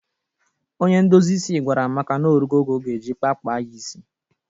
Onye ndozi isi gwara Amaka na ọ rugo oge ọ ga-eji kpaa kpaa ya isi.